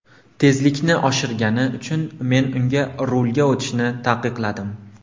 Tezlikni oshirgani uchun men unga rulga o‘tirishni taqiqladim.